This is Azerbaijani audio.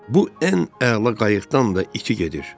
Bu ən əla qayıqdan da iki gedir.